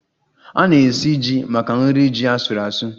Ọ na-esi ji maka nri ji asuru asu